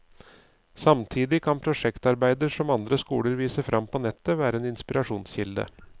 Samtidig kan prosjektarbeider som andre skoler viser frem på nettet, være en inspirasjonskilde.